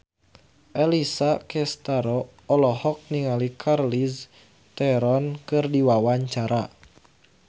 Alessia Cestaro olohok ningali Charlize Theron keur diwawancara